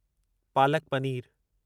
palak paneer